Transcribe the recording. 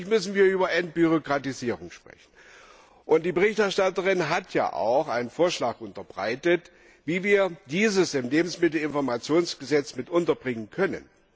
Natürlich müssen wir über Entbürokratisierung sprechen. Die Berichterstatterin hat einen Vorschlag unterbreitet, wie wir diese im Lebensmittelinformationsgesetz mit unterbringen können.